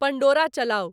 Pandora चलाऊ